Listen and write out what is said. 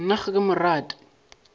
nna ga ke mo rate